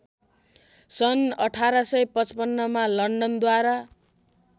सन् १८५५ मा लन्डनद्वारा